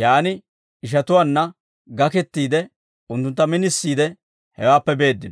yaan ishatuwaanna gakettiide, unttuntta minisiide hewaappe beeddino.